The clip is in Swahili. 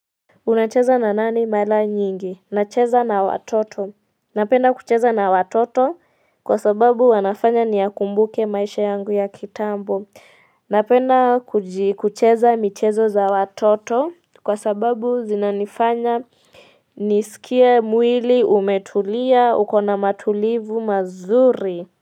Unacheza na nani mara nyingi? Nacheza na watoto. Napenda kucheza na watoto kwa sababu wanafanya niya kumbuke maisha yangu ya kitambo. Napenda kucheza michezo za watoto kwa sababu zinanifanya nisikie mwili umetulia ukona matulivu mazuri.